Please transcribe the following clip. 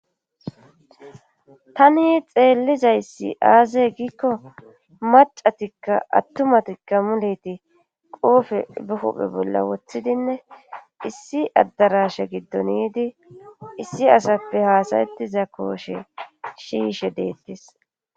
Tani xeellizayssi aaze giikko macatikka attumatikka muleti qoofe buhuphe bolla wothidinne issi addarashe giddoniidi issi asappe haasayettiza kooshe shiishe deettes.